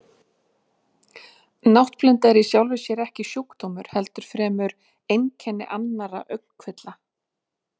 Náttblinda er í sjálfu sér ekki sjúkdómur heldur fremur einkenni annarra augnkvilla.